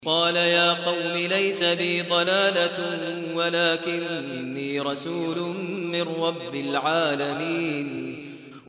قَالَ يَا قَوْمِ لَيْسَ بِي ضَلَالَةٌ وَلَٰكِنِّي رَسُولٌ مِّن رَّبِّ الْعَالَمِينَ